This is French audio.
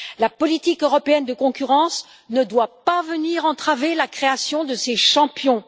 La politique européenne de concurrence ne doit pas venir entraver la création de ces champions.